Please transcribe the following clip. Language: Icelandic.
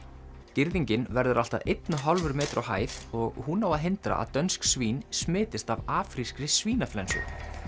girðingin verður allt að einn og hálfur metri á hæð og hún á að hindra að dönsk svín smitist af af afrískri svínaflensu